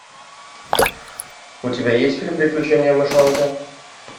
у тебя есть фильм приключения мышонка